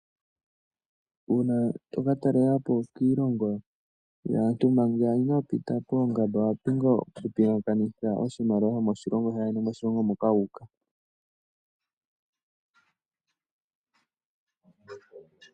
Uuna to ka talela po kiilongo yaantu manga inoo pita poongamba owa pumbwa okupingakanitha oshimaliwa shomoshilongo shaayeni nosho moshilongo moka wu uka.